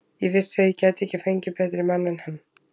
Ég vissi að ég gæti ekki fengið betri mann en hann.